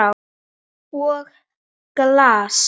Og glas.